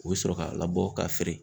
U bi sɔrɔ ka labɔ ka feere.